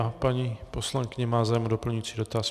A paní poslankyně má zájem o doplňující dotaz.